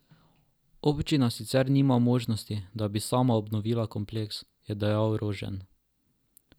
Občina sicer nima možnosti, da bi sama obnovila kompleks, je dejal Rožen.